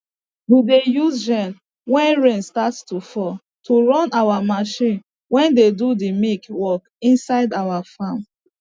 we dey use gen wen rain start to fall to run our marchin wey dey do de milk work inside our farm